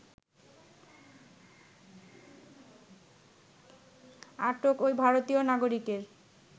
আটক ঐ ভারতীয় নাগরিকের